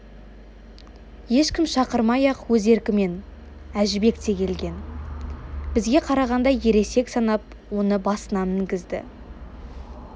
ешкім шақырмай-ақ өз еркімен әжібек те келген бізге қарағанда ересек санап оны басына мінгізді